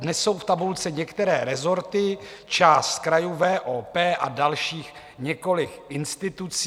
Dnes jsou v tabulce některé rezorty, část krajů, VOP a dalších několik institucí.